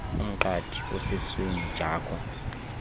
umqadi osesweni jakho